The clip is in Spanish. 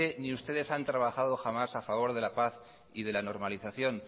ni ustedes han trabajado jamás a favor de la paz y de la normalización